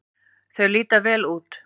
Þau líta vel út.